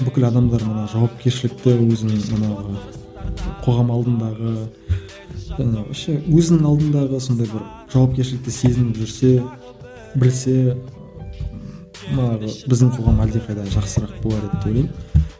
бүкіл адамдар мана жауапкершілікті өзінің манағы қоғам алдындағы вообще өзінің алдындағы сондай бір жауапкершілікті сезініп жүрсе білсе манағы біздің қоғам әлдеқайда жақсырақ болар еді деп ойлаймын